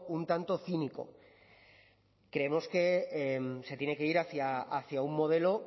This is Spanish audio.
un tanto cínico creemos que se tiene que ir hacia un modelo